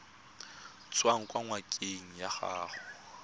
tswang kwa ngakeng ya gago